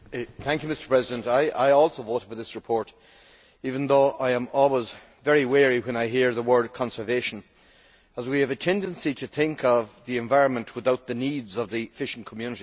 Mr President, I also voted for this report even though I am always very wary when I hear the word conservation', as we have a tendency to think of the environment without the needs of the fishing community.